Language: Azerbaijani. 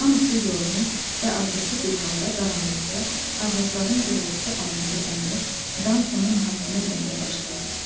Hamısı yorğun və acıqlı bir halda qaranlıqda ağacların gürültüsü altında dayanıb Danqonu mühakimə eləməyə başladı.